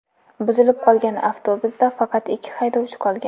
Buzilib qolgan avtobusda faqat ikki haydovchi qolgan.